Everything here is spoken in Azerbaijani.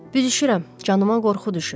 Büzüşürəm, canıma qorxu düşür.